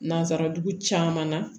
Nansarajugu caman na